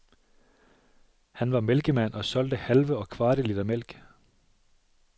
Han var mælkemand og solgte halve og kvarte liter mælk.